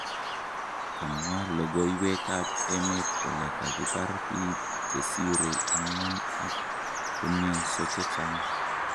kamwa logoiwek ap emet kole kakipar piig chesire angwan ak koumianso chechang